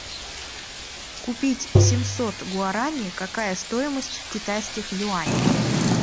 купить семьсот гуарани какая стоимость в китайских юанях